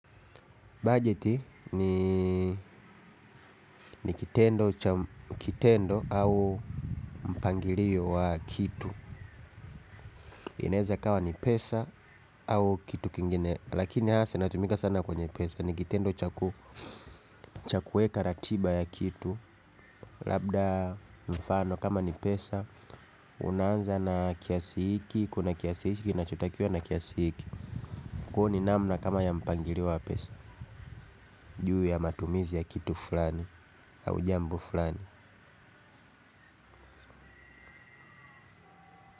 Bajeti ni kitendo cha kitendo au mpangilio wa kitu. Inaweza ikawa ni pesa au kitu kingine lakini hasa inatumika sana kwenye pesa ni kitendo cha kuweka ratiba ya kitu. Labda mfano kama ni pesa. Unaanza na kiasi hiki, kuna kiasi hiki kinachotakiwa na kiasi hiki kwa hiyo ni namna kama ya mpangilio wa pesa. Juu ya matumizi ya kitu fulani au jambo fulani.